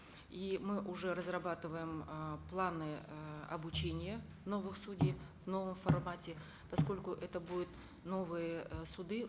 и мы уже разрабатываем э планы э обучения новых судей в новом формате поскольку это будут новые э суды